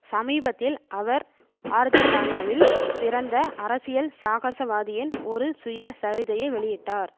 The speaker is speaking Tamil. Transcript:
சமீபத்தில் அவர் ஆர்ஜன்டனாவில் பிறந்த அரசியல் சாகசவாதியின் ஒரு சுயசரிதையை வெளியிட்டார்